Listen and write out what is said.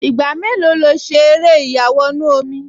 Ìgbà mélòó lo ṣe eré ìyàwọnù-omi?